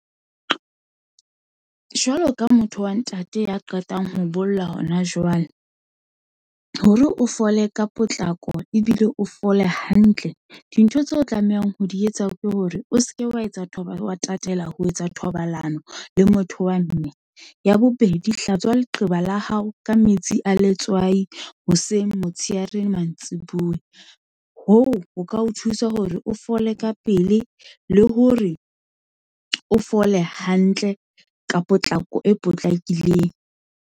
Jwalo ka motho wa ntate ya qetang ho bolla hona jwale, hore o fole ka potlako, ebile o fole hantle. Dintho tseo o tlamehang ho di etsa, ke hore o seke wa tatela ho etsa thobalano le motho wa mme, ya bobedi hlatswe leqeba la hao ka metsi a letswai, hoseng, motshehare, mantsibuya. Hoo ho ka o thusa hore o fole ka pele, le hore o fole hantle ka potlako e potlakileng.